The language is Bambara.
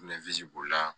b'o la